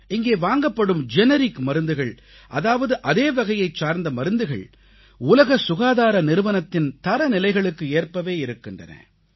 இங்கே வாங்கப்படும் ஜெனரிக் மருந்துகள் அதாவது அதே வகையைச் சார்ந்த மருந்துகள் உலக சுகாதார நிறுவனத்தின் தரநிலைகளுக்கு ஏற்பவே இருக்கின்றன